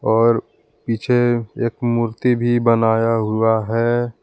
और पीछे एक मूर्ति भी बनाया हुआ है।